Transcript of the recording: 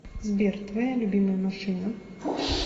сбер твоя любимая машина